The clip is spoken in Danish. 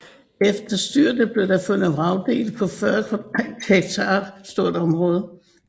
Efter styrtet blev der fundet vragdele på et 40 hektar stort område